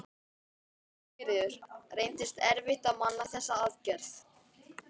Sigríður: Reyndist erfitt að manna þessa aðgerð?